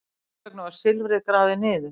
Hvers vegna var silfrið grafið niður?